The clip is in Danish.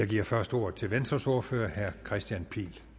giver først ordet til venstres ordfører herre kristian pihl